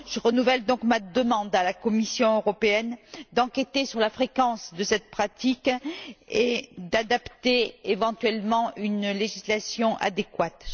Je renouvelle donc ma demande à la Commission européenne d'enquêter sur la fréquence de cette pratique, et d'adopter éventuellement une législation adéquate.